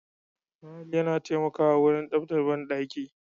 Tayil yana taimakawa wurin tsafat banɗaki